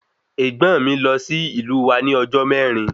Ègbón mí lọ sí ìlú wa ní ọjọ mẹrin